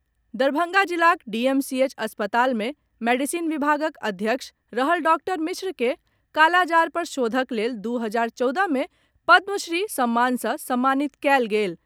दरभंगा जिलाक डीएमसीएच अस्पताल मे मेडिसिन विभागक अध्यक्ष रहल डॉक्टर मिश्र के कालाजार पर शोधक लेल दू हजार चौदह मे पद्म श्री सम्मान सँ सम्मानित कयल गेल